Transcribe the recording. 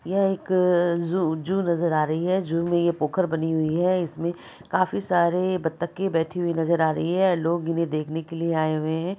यह एक zoo zoo नजर आ रही है जू में ये पोखर बनी हुई है इसमें काफी सारे बत्तके बैठी हुई नजर आ रही है लोग इन्हे देखने के लिए आए हुए है।